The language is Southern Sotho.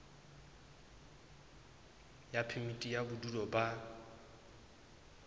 ya phemiti ya bodulo ba